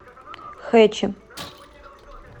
хэчи